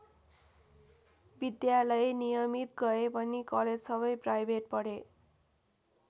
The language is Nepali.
विद्यालय नियमित गए पनि कलेज सबै प्राइभेट पढे।